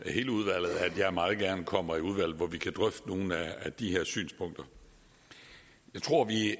hele udvalget at jeg meget gerne kommer i udvalget hvor vi kan drøfte nogle af de her synspunkter jeg tror vi